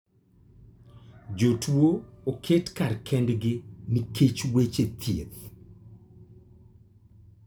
Jotuo oket kar kendgi nikech weche thieth.